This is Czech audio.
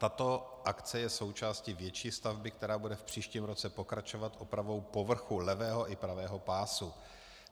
Tato akce je součástí větší stavby, která bude v příštím roce pokračovat opravou povrchu levého i pravého pásu.